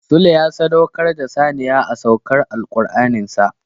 Sule ya sadaukar da saniya a saukar Alkur'anin sa.